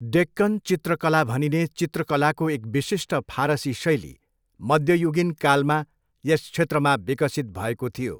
डेक्कन चित्रकला भनिने चित्रकलाको एक विशिष्ट फारसी शैली मध्ययुगीन कालमा यस क्षेत्रमा विकसित भएको थियो।